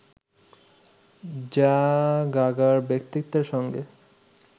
যা গাগার ব্যক্তিত্বের সঙ্গে